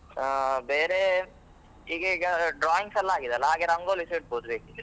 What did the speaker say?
ಆ, ಬೇರೆ ಈಗ್~ ಈಗ drawings ಎಲ್ಲ ಆಗಿದೆ ಅಲಾ, ಹಾಗೆ ರಂಗೋಲಿಸ ಇಡಬಹುದು ಬೇಕಿದ್ರೆ.